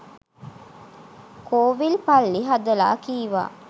කෝවිල් පල්ලි හදලා කීවා